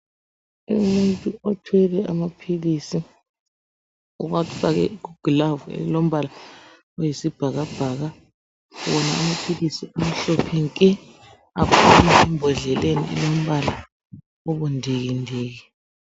Umuntu othwele amaphilisi uwafake kugilavu elilombala oyisibhakabhaka wona amaphilisi amhlophe nke aphuma embhodleleni elombala obundikindiki.